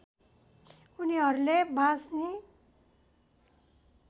उनीहरूले बाँच्ने